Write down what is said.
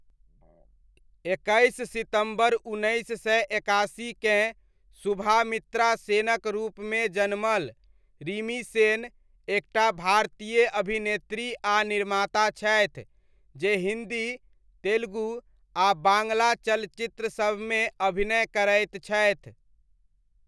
एकैस सितम्बर उन्नैस सए एकासीकेँ, सुभामित्रा सेनक रूपमे जनमल, रिमी सेन, एक टा भारतीय अभिनेत्री आ निर्माता छथि, जे हिन्दी, तेलुगु, आ बाङ्ग्ला चलचित्रसबमे अभिनय करैत छथि।